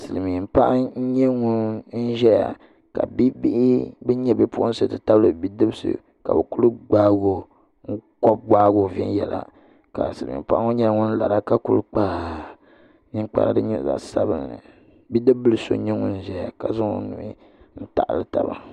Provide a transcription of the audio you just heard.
Silmiin paɣa n nyɛ ŋun ʒɛya ka bia bihi bin nyɛ bipuɣunsi ti tabili bidibsi ka bi ku gbaagi o viɛnyɛla ka silmiin paɣa ŋɔ nyɛla ŋun lara ka ku kpa ninkpara din nyɛ zaɣ sabinli bodib so n nyɛ ŋun ʒɛya ka ku zaŋ o nuhi n taɣali taba